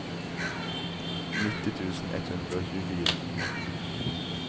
nitti tusen ett hundre og tjuefire